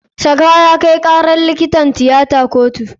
Shafa ya kai karar likitan tiyata a kotu.